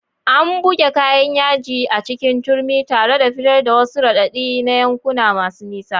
An buge kayan yaji a cikin turmi, tare da fitar da wasu raɗaɗi na yankuna masu nisa.